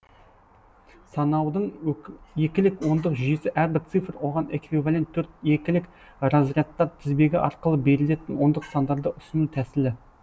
санаудың екілік ондық жүйесі әрбір цифр оған эквивалент төрт екілік разрядтар тізбегі арқылы берілетін ондық сандарды ұсыну тәсілі